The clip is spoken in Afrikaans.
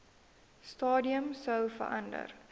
stadium sou verander